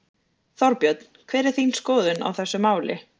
Þorbjörn: Hver er þín skoðun á þessu máli?